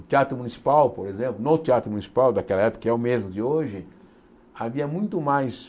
O Teatro Municipal, por exemplo, no Teatro Municipal daquela época, que é o mesmo de hoje, havia muito mais...